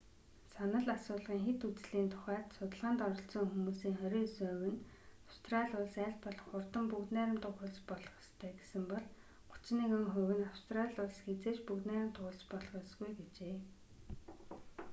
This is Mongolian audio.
санал асуулгын хэт үзлийн тухайд судалгаанд оролцсон хүмүүсийн 29 хувь нь австрали улс аль болох хурдан бүгд найрамдах улс болох ёстой гэсэн бол 31 хувь нь австрали улс хэзээ ч бүгд найрамдах улс болох ёсгүй гэжээ